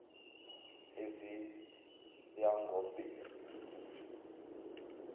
eziyangobheri